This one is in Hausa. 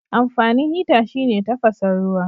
Amfanin hita shine tafasan ruwa.